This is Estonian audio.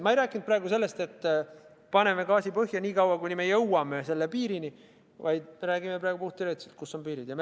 Ma ei rääkinud praegu sellest, et paneme gaasi põhja, kuni jõuame selle piirini, vaid me räägime praegu puhtteoreetiliselt, kus on piirid.